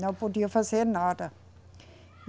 Não podia fazer nada.